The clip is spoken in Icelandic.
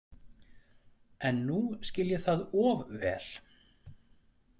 En nú skil ég það of vel.